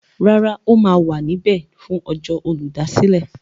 Rárá, ó ma wà níbẹ̀ fún ọjọ́ Olùdásílẹ̀.